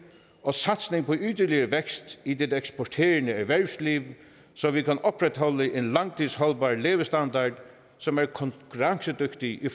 og satsning på yderligere vækst i det eksporterende erhvervsliv så vi kan opretholde en langtidsholdbar levestandard som er konkurrencedygtig i